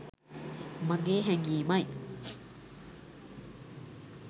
මගේ හැඟීමයි.